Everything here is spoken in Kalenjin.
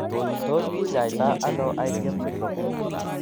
Tos kinyai to ano Igm syndrome ?